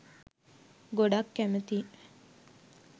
ගොඩක් කැමතියි